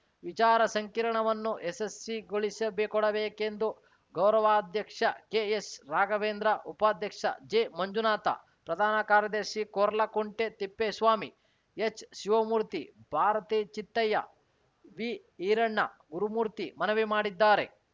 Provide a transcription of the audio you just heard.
ವಿಚಾರ ಸಂಕಿರಣವನ್ನು ಯಶಸ್ಸಿಗೊಳಿಸಿಬೆ ಕೊಡಬೇಕೆಂದು ಗೌರವಾಧ್ಯಕ್ಷ ಕೆಎಸ್‌ರಾಘವೇಂದ್ರ ಉಪಾಧ್ಯಕ್ಷ ಜೆಮಂಜುನಾಥ ಪ್ರಧಾನ ಕಾರ್ಯದರ್ಶಿ ಕೊರ್ಲಕುಂಟೆ ತಿಪ್ಪೇಸ್ವಾಮಿ ಎಚ್‌ಶಿವಮೂರ್ತಿ ಭಾರತಿ ಚಿತ್ತಯ್ಯ ವಿಈರಣ್ಣ ಗುರುಮೂರ್ತಿ ಮನವಿ ಮಾಡಿದ್ದಾರೆ